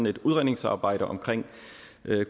et udredningsarbejde om